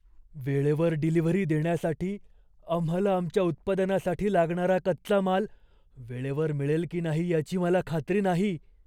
वेळेवर डिलिव्हरी देण्यासाठी आम्हाला आमच्या उत्पादनासाठी लागणारा कच्चा माल वेळेवर मिळेल की नाही याची मला खात्री नाही.